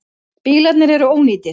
Bílarnir eru ónýtir.